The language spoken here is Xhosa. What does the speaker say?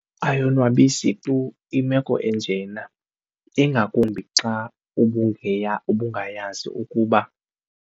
Ayonwabisi tu imeko enjena ingakumbi xa ubungayazi ukuba.